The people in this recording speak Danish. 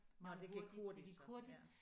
Nåh det gik hurtigt ja